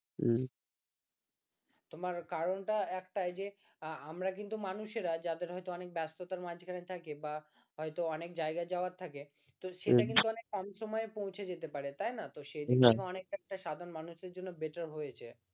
তোমার কারণটা একটাই যে আমরা কিন্তু মানুষেরা যাদের হয়তো অনেক ব্যস্ততার মাঝখানে থাকে বা হয়তো অনেক জায়গা যাওয়ার থাকে তো সেটা কিন্তু অনেক কম সময়ে পৌঁছে যেতে পারে তাই না তো সে দিক থেকে সাধারণ মানুষের জন্য better হয়েছে